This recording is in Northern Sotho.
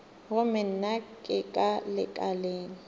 gomme nna ke ka lekaleng